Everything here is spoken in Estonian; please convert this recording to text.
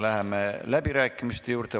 Läheme läbirääkimiste juurde.